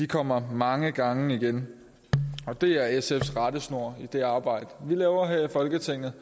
kommer mange gange igen og det er sfs rettesnor i det arbejde vi laver her i folketinget